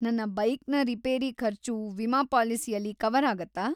ನನ್ನ ಬೈಕ್‌ನ ರಿಪೇರಿ ಖರ್ಚು ವಿಮಾ ಪಾಲಿಸಿಯಲ್ಲಿ ಕವರ್ ಆಗತ್ತಾ?